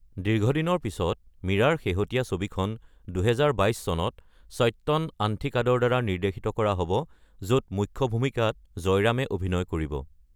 দীৰ্ঘদিনৰ পিছত মীৰাৰ শেহতীয়া ছবিখন ২০২২ চনত সত্যন আন্থিকাডৰ দ্বাৰা নিৰ্দ্দেশিত কৰা হ’ব, য’ত মুখ্য ভূমিকাত জয়ৰামে অভিনয় কৰিব।